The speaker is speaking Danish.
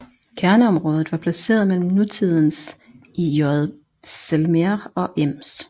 Kerneområdet var placeret mellem nutidens IJsselmeer og Ems